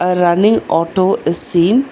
A running auto is seen.